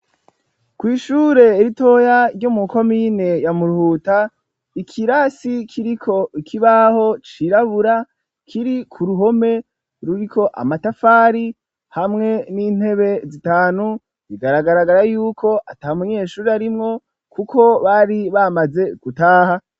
Kw'ishure ritoya ryo mu komine ya Muruhuta, ikirasi kibaho cirabura kiri ku ruhome ruriko amatafari hamwe n'intebe zitanu, bigaragara yuko ata munyeshuri arimwo kuko bari bamaze gutaha.